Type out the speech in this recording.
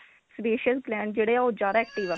sebaceous glands ਜਿਹੜੇ ਉਹ ਜਿਆਦਾ active ਆ